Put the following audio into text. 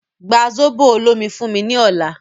Gba zobo olomi fún mí ní ọ̀la